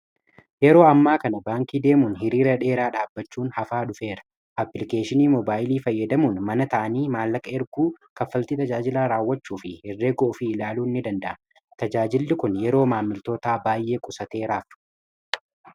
yeroo ammaa kana baankii deemuun hiriira dheeraa dhaabbachuun hafaa dhufeera. applikeeshinii mobaayilii fayyadamuun mana taa, anii maallaqa erguu, kaffalti tajaajilaa raawwachuu fi herree ga ofii ilaaluun ni danda'a ma tajaajilli kun yeroo maamiltoota baay'ee qusateera.